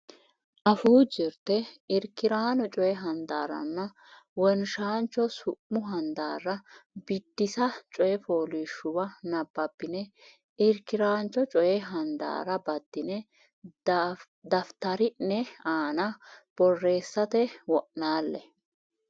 Afuu Jirte Irki raano Coy Handaarranna Wonshaancho Su mu Handaara Bidissa coy fooliishshuwa nabbabbine irki raancho coy handaara baddine daftari ne aana borreessate wo naalle.